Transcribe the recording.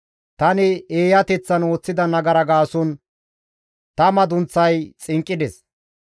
Tani eeyateththan ooththida nagara gaason ta madunththay xinqqides.